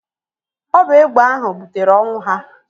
Ọ bụ egbe ahụ butere ọnwụ ha.